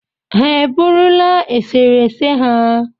Ha e burula esere ese ha?